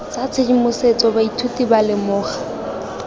tsa tshedimosetso baithuti ba lemoga